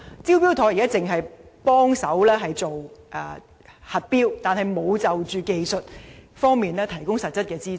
"招標妥"現時只在核標方面提供協助，卻沒有在技術方面提供實質協助。